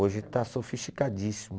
Hoje está sofisticadíssimo.